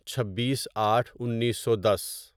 چھبیس آٹھ انیسو دس